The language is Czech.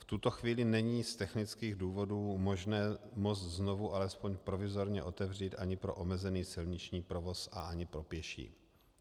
V tuto chvíli není z technických důvodů možné most znovu alespoň provizorně otevřít ani pro omezený silniční provoz a ani pro pěší.